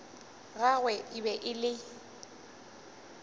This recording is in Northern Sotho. gagwe e be e le